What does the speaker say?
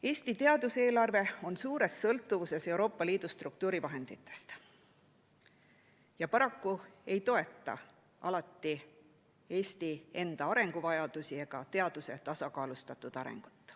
Eesti teaduseelarve on suures sõltuvuses Euroopa Liidu struktuurivahenditest ja paraku ei toeta alati Eesti enda arenguvajadusi ega teaduse tasakaalustatud arengut.